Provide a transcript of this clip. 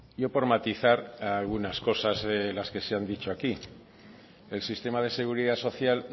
yo por matizar algunas cosas de las que se han dicho aquí el sistema de seguridad social